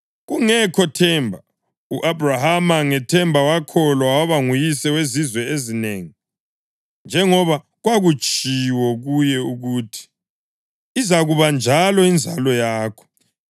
Kungekho themba, u-Abhrahama ngethemba wakholwa waba nguyise wezizwe ezinengi, njengoba kwakutshiwo kuye ukuthi, “Izakuba njalo inzalo yakho.” + 4.18 UGenesisi 15.5